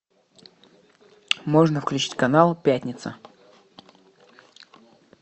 можно включить канал пятница